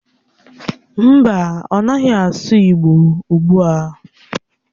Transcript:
Mba, ọ naghị asụ igbo ugbua.